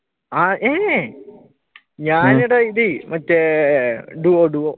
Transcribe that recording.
മറ്റേ duo duo